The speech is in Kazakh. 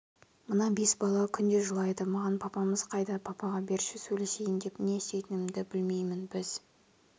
мына бес бала күнде жылайды маған папамыз қайда папаға берші сөйлесейін деп не істейтінімді білмеймін біз